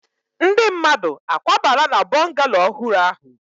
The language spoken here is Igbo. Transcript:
Ndi mmadu akwabala na bungallooow ohuru ahu?